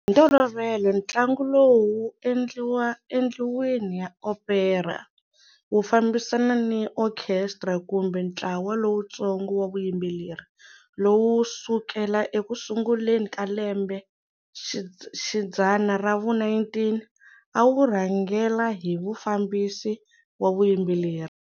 Hi ntolovelo ntlangu lowu wu endliwa endlwini ya opera, wu fambisana ni okhestra kumbe ntlawa lowutsongo wa vuyimbeleri, lowu sukela eku sunguleni ka lembe xidzana ra vu-19 a wu rhangela hi mufambisi wa vuyimbeleri.